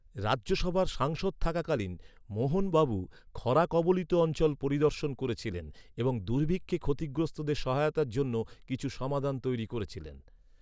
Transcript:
রাজ্যসভার সাংসদ থাকাকালীন, মোহন বাবু খরা কবলিত অঞ্চল পরিদর্শন করেছিলেন এবং দুর্ভিক্ষে ক্ষতিগ্রস্তদের সহায়তার জন্য কিছু সমাধান তৈরি করেছিলেন।